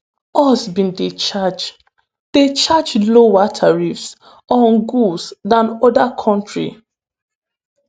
us bin dey charge dey charge lower tariffs on goods dan oda kontris.